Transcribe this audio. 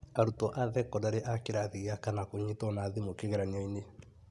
Arũtwo a thekodarĩ a kĩrathi gĩa kana kũnyitwo na thimũ kigeranĩoni